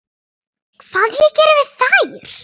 Hvað ég geri við þær?